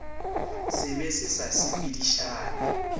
se be se sa sepedišane